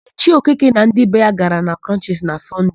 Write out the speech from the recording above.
Ichie Okeke na ndị be ya gara na Krọnchisi na Sọnde.